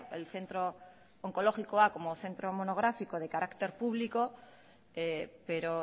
el centro onkologikoa como centro monográfico de carácter público pero